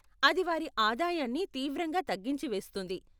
అది వారి ఆదాయాన్ని తీవ్రంగా తగ్గించివేస్తుంది.